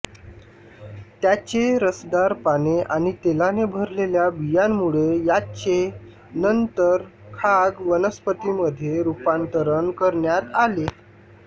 त्याचे रसदार पाने आणि तेलाने भरलेल्या बियांमुळे याचे नंतर खाद्य वनस्पतीमध्ये रुपांतरण करण्यात आले